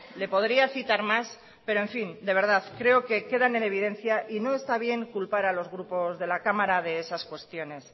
le podría citar más pero en fin de verdad creo que quedan en evidencia y no está bien culpar a los grupos de la cámara de esas cuestiones